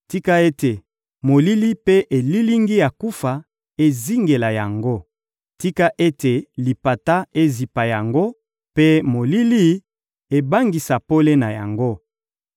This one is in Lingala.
Tika ete molili mpe elilingi ya kufa ezingela yango! Tika ete lipata ezipa yango, mpe molili ebangisa pole na yango!